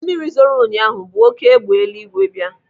Mmiri zoro ụnyaahụ bu oké egbe eluigwe bịa.